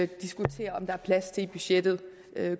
diskutere om der er plads til i budgettet